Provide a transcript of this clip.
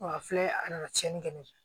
a filɛ a nana tiɲɛni kɛ ne fɛ